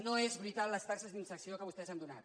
no és veritat les taxes d’inserció que vostès han donat